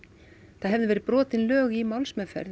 það hefðu verið brotin lög í málsmeðferð